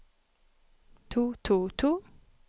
to to to